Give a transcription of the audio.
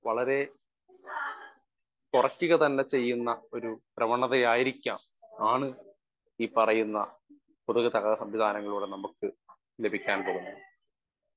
Speaker 1 വളരെ കൊറക്കുക തന്നെ ചെയ്യുന്ന ഒരു പ്രവണതയായിരിക്കാം ആണ് ഈ പറയുന്ന പൊതുഗതാഗത സംവിധാനങ്ങളിലൂടെ നമ്മക്ക് ലഭിക്കാൻ പോകുന്നത്.